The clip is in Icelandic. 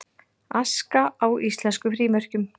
Aska á íslenskum frímerkjum